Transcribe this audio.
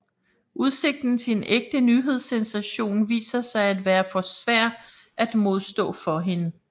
Udsigten til en ægte nyhedssensation viser sig at være for svær at modstå for hende